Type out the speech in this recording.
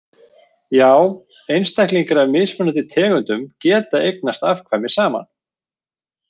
Já einstaklingar af mismunandi tegundum geta eignast afkvæmi saman.